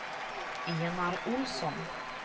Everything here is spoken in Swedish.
Enar Olsson